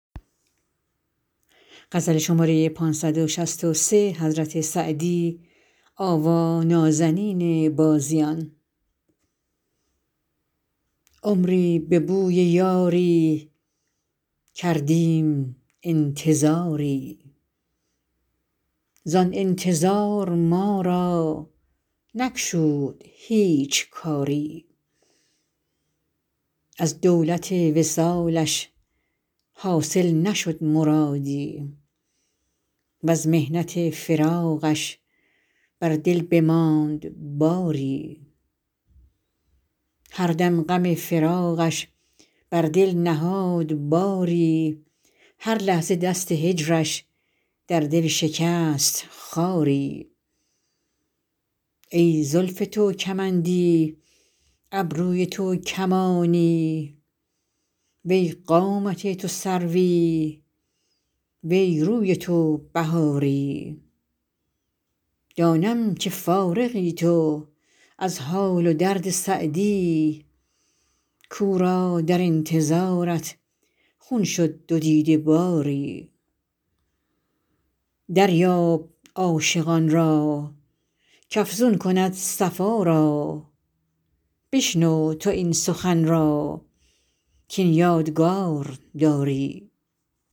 عمری به بوی یاری کردیم انتظاری زآن انتظار ما را نگشود هیچ کاری از دولت وصالش حاصل نشد مرادی وز محنت فراقش بر دل بماند باری هر دم غم فراقش بر دل نهاد باری هر لحظه دست هجرش در دل شکست خاری ای زلف تو کمندی ابروی تو کمانی وی قامت تو سروی وی روی تو بهاری دانم که فارغی تو از حال و درد سعدی کاو را در انتظارت خون شد دو دیده باری دریاب عاشقان را کافزون کند صفا را بشنو تو این سخن را کاین یادگار داری